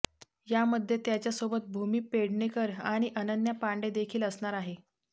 यामध्ये त्याच्यासोबत भूमी पेडनेकर आणि अनन्या पांडे देखील असणार आहे